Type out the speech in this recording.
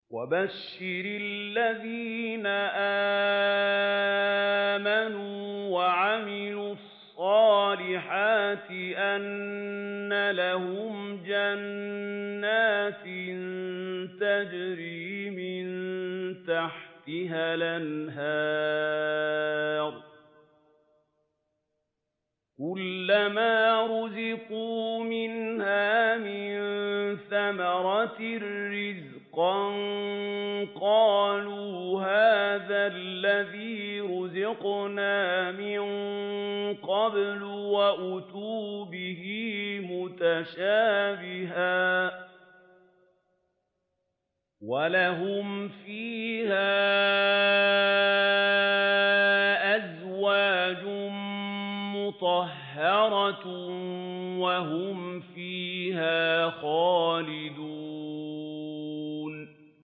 وَبَشِّرِ الَّذِينَ آمَنُوا وَعَمِلُوا الصَّالِحَاتِ أَنَّ لَهُمْ جَنَّاتٍ تَجْرِي مِن تَحْتِهَا الْأَنْهَارُ ۖ كُلَّمَا رُزِقُوا مِنْهَا مِن ثَمَرَةٍ رِّزْقًا ۙ قَالُوا هَٰذَا الَّذِي رُزِقْنَا مِن قَبْلُ ۖ وَأُتُوا بِهِ مُتَشَابِهًا ۖ وَلَهُمْ فِيهَا أَزْوَاجٌ مُّطَهَّرَةٌ ۖ وَهُمْ فِيهَا خَالِدُونَ